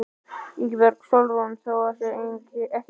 Ingibjörg Sólrún: Þó hann sé ekki stærstur?